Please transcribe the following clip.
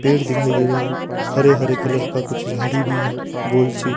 पेड़ दिखाई दे रहे हैं हरे हरे कलर का कुछ झाड़ी भी है गोल सी--